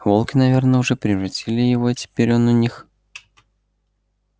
волки наверно уже переварили его и теперь он у них